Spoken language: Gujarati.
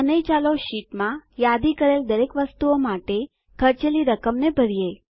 અને ચાલો આપણી શીટમાં યાદી કરેલ દરેક વસ્તુઓ માટે ખર્ચેલી રકમને ભરીએ